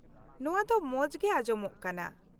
-ᱱᱚᱣᱟ ᱫᱚ ᱢᱚᱡᱽᱜᱮ ᱟᱡᱚᱢᱚᱜ ᱠᱟᱱᱟ ᱾